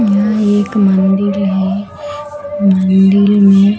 यहां एक मंदिर है मंदिर में--